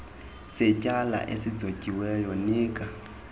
setyala esizotyiweyo nika